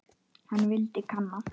Hann vildi kanna.